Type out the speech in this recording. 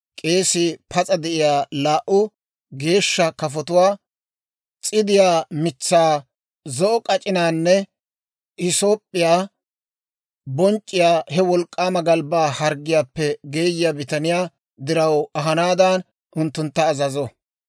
k'eesii pas'a de'iyaa laa"u geeshsha kafotuwaa, s'idiyaa mitsaa, zo'o k'ac'inaanne hisoop'p'iyaa bonc'c'iyaa he wolk'k'aama galbbaa harggiyaappe geeyiyaa bitaniyaa diraw ahanaadan unttuntta azazo.